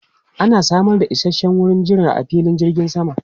Ana samar da isasshen wurin jira a filin jirgin sama.